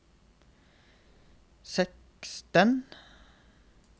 seksten